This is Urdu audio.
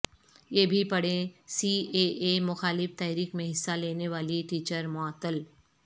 یہ بھی پڑھیں سی اے اے مخالف تحریک میں حصہ لینے والی ٹیچر معطل